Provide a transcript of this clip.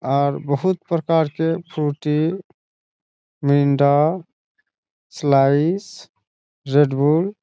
और बहुत प्रकार के Frooti Mirinda Slice Red Bull --